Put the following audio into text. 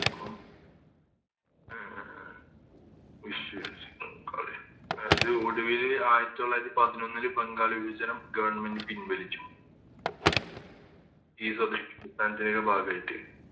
ക്കും അഹ് അതായത് ഒടുവില് ആയിരത്തി തൊള്ളായിരത്തി പതിനൊന്നില് ബംഗാൾ വിഭജനം Government പിൻ വലിച്ചു ബാഗായിറ്റ്